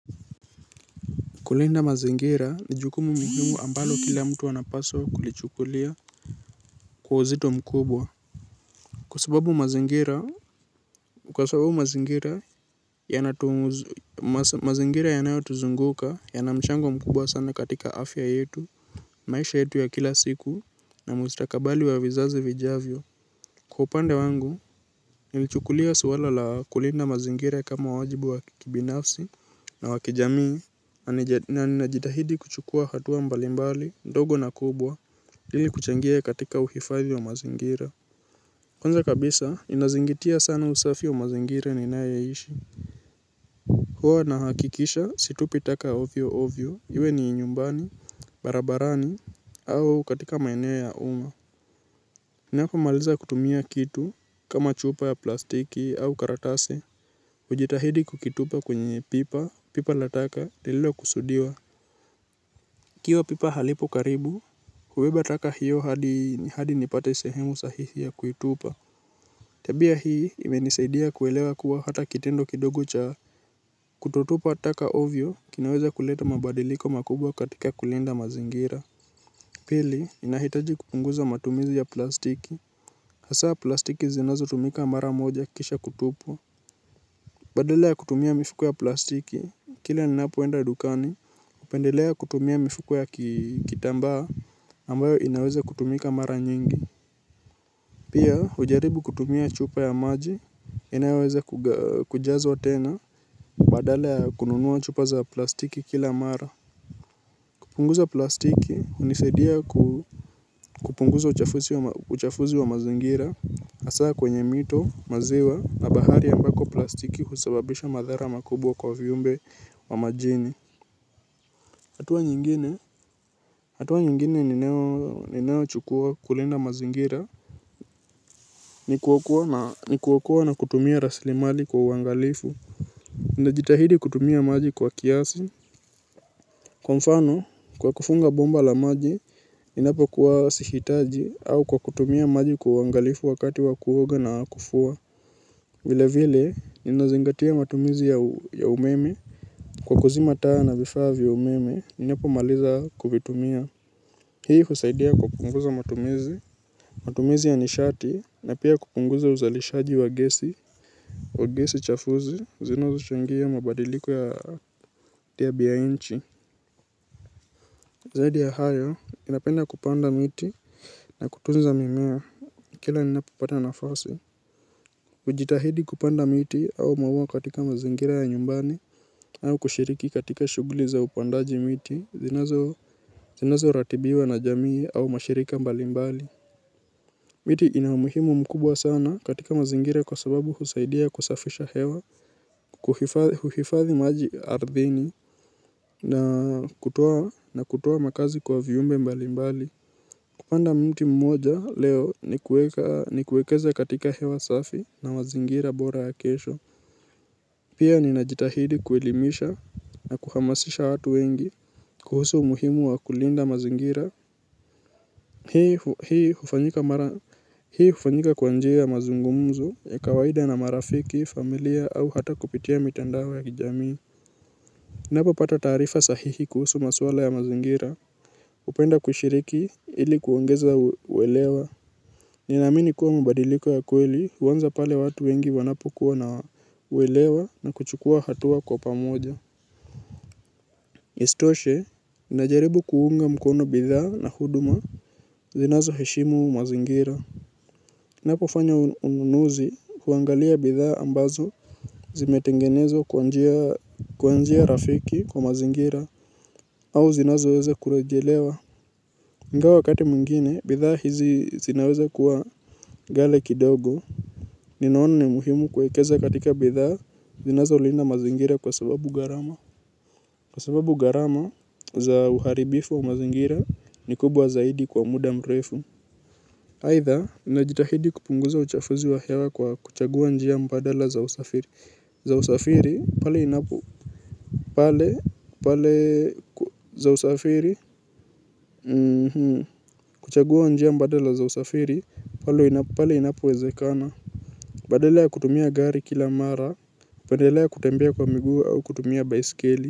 Kulinda mazingira ni jukumu muhimu ambalo kila mtu anapaswa kulichukulia kwa uzito mkubwa. Kwa sababu mazingira mazingira yanayo tuzunguka yana mchango mkubwa sana katika afya yetu maisha yetu ya kila siku na mustakabali wa vizazi vijavyo. Kwa upande wangu, nilichukulia swala la kulinda mazingire kama wajibu wa kibinafsi na wakijamii, na ninajitahidi kuchukua hatuwa mbalimbali, ndogo na kubwa, ili kuchangia katika uhifadhi wa mazingira. Kwanza kabisa, ninazingatia sana usafi wa mazingire ninayaishi. Huwa nahakikisha situpi taka ovyoovyo, iwe ni nyumbani, barabarani, au katika maeneo ya uma. Ninapomaliza kutumia kitu kama chupa ya plastiki au karatasi. Ujitahidi kukitupa kwenye pipa, pipa la taka, lilolo kusudiwa. Ikiwa pipa halipo karibu, hubeba taka hiyo hadi ni hadi nipate sehemu sahihi ya kuitupa tabia hii imenisaidia kuelewa kuwa hata kitendo kidogu cha kutotupa taka ovyo, kinaweza kuleta mabadiliko makubwa katika kulinda mazingira. Pili, ninahitaji kupunguza matumizi ya plastiki hasa plastiki zinazotumika maramoja kisha kutupwa badala ya kutumia mifuko ya plastiki, kila ninapoenda dukani, upendelea kutumia mifuku ya kitambaa, ambayo inaweze kutumika mara nyingi pia hujaribu kutumia chupa ya maji inayoweza kujazwa tena. Badala ya kununua chupa za plastiki kila mara kupunguza plastiki, hunisaidia kupunguza uchafuzi wa mazingira. Hasa kwenye mito, maziwa na bahari ambako plastiki husababisha madhara makubwa kwa vyumbe wa majini hatua nyingine, hatua nyingine ninayo chukua kulinda mazingira ni kuokoa na kutumia rasilimali kwa uangalifu ninajitahidi kutumia maji kwa kiasi. Kwa mfano, kwa kufunga bomba la maji, ninapo kuwa sihitaji au kwa kutumia maji kwa uangalifu wakati wa kuoga na kufua vile vile, ninazingatia matumizi ya umeme kwa kuzima taa na vifaa vya umeme, ninapo maliza kuvitumia. Hii husaidia kupunguza matumizi, matumizi ya nishati, na pia kupunguza uzalishaji wa gesi wa gesi chafuzi, zinazochangia mabaliko ya nchi zaidi ya hayo, ninapenda kupanda miti, na kutunza mimea, kila ninapopata nafasi. Ujitahidi kupanda miti au maua katika mazingira ya nyumbani au kushiriki katika shuguli za upandaji miti zinazo ratibiwa na jamii au mashirika mbali mbali miti ina umuhimu mkubwa sana katika mazingira kwa sababu husaidia kusafisha hewa, kuhifathi maji ardhini na kutoa makazi kwa viumbe mbali mbali kupanda mti mmoja leo ni kuekeza katika hewa safi na mazingira bora ya kesho pia ninajitahidi kuelimisha na kuhamasisha watu wengi kuhusu umuhimu wa kulinda mazingira. Hii hufanyika mara hii hufanyika kwa njia ya mazungumzo ya kawaida na marafiki, familia au hata kupitia mitandao ya kijamii. Ninapopata taarifa sahihi kuhusu maswala ya mazingira hupenda kushiriki ili kuongeza uelewano ninaamini kuwa mabadiliko ya kweli uanza pale watu wengi wanapo kuwa na uelewa na kuchukua hatua kwa pamoja. Isitoshe, najaribu kuunga mkono bidhaa na huduma zinazoheshimu mazingira. Napofanya ununuzi kuangalia bidhaa ambazo zimetengenezwa kwa njia rafiki kwa mazingira au zinazo weze kurejelewa. Ingawa wakati mwingine, bidhaa hizi zinaweze kuwa ghali kidogo ninaona ni muhimu kuwekeza katika bidhaa zinazolinda mazingira kwa sababu gharama kwa sababu gharama za uharibifu wa mazingira ni kubwa zaidi kwa muda mrefu. Aidha, ninajitahidi kupunguza uchafuzi wa hewa kwa kuchagua njia mbadala za usafiri za usafiri, pale inapo. Pale, pale za usafiri kuchagua njia mbadala za usafiri, pale inapo, pale inapowezekana. Badala ya kutumia gari kila mara kupendelea kutembea kwa miguu au kutumia baiskeli.